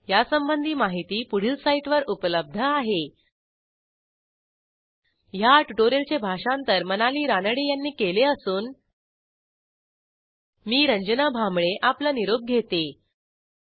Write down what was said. यासंबंधी माहिती पुढील साईटवर उपलब्ध आहेhttpspoken tutorialorgNMEICT Intro ह्या ट्युटोरियलचे भाषांतर मनाली रानडे यांनी केले असून मी रंजना भांबळे आपला निरोप घेते160